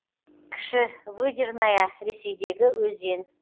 кіші выдерная ресейдегі өзен